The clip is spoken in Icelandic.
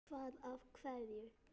Hvað af hverju?